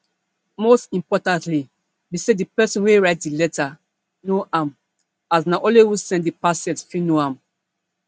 most importantly be say di pesin wey write di letter know am as na only who send di parcel fit know am